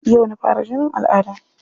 Yau na fara jinin al'adda.